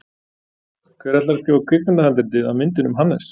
Hver ætlar að skrifa kvikmyndahandritið að myndinni um Hannes?